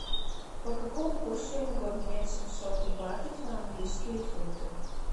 по какому курсу я могу обменять семьсот батов на английские фунты